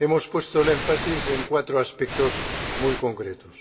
Hemos puesto el énfasis en cuatro aspectos muy concretos.